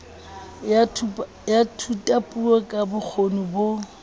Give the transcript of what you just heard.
ya thutapuo ka bokgoni bo